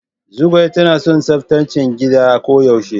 Zugwai tana son tsaftace gida ko yaushe.